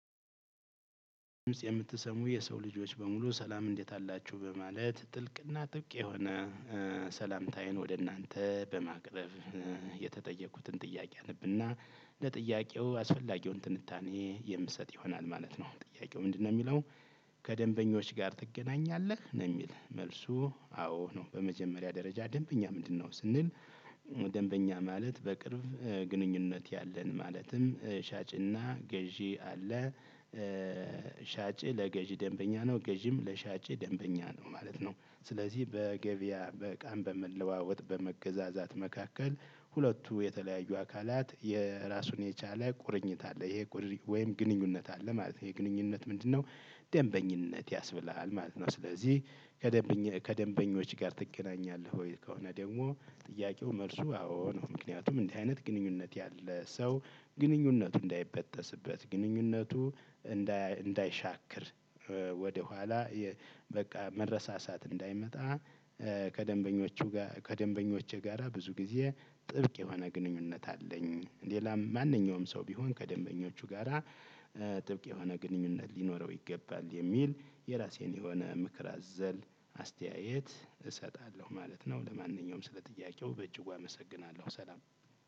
የምትሰሙ የሰው ልጆች በሙሉ ሰላም እንዴት አላችሁ በማለት ጥልቅና ጥብቅ የሆነ ሰላምታዬን ወደ እናንተ በማቅረብ የተጠየኩትን ጥያቄ አነብና ለጥያቄው አስፈላጊውን ትንታኔ የምሰጥ ይሆናል ማለት ነው። ጥያቄው ምንድነው የሚለው? ከደንበኞች ጋር ትገናኛለህ ነው የሚል መልሱ። አዎ ነው በመጀመሪያ ደረጃ ደንበኛ ምንድነው ስንል? ደንበኛ ማለት በቅርብ ግንኙነት ያለን ማለትም ሻጭና ገዢ አለ። ሻጭ ለገዢ ደንበኛ ነው ገዢም ለሻጭ ደንበኛ ነው ማለት ነው። ስለዚህ በገበያ በዕቃም በመለዋወጥ በመገዛዛት መካከል ሁለቱ የተለያዩ አካላት የራሱን የቻለ ቁርኝት አለ ይሄ ወይም ግንኙነት አለ ማለት ነው። ይሄ ግንኙነት ምንድነው? ደንበኝነት ያስብላል ማለት ነው። ስለዚህ ከደንበኞች ጋር ትገናኛለህ ወይ? ከሆነ ደግሞ ጥያቄው መልሱ አዎ ነው። ምክንያቱም እንዲህ አይነት ግንኙነት ያለ ሰው ግንኙነቱ እንዳይበጠስበት ግንኙነቱ እንዳይሻክር ወደኋላ በቃ መረሳሳት እንዳይመጣ። ከደንበኞቹ ጋር ከደንበኞቼ ጋራ ብዙ ጊዜ ጥብቅ የሆነ ግንኙነት አለኝ። ሌላም ማንኛውም ሰው ቢሆን ከደንበኞቹ ጋራ ጥብቅ የሆነ ግንኙነት ሊኖረው ይገባል የሚል የራሴን የሆነ ምክር አዘል አስተያየት እሰጣለሁ ማለት ነው። ለማንኛውም ስለጥያቄው በእጅግ አመሰግናለሁ ሰላም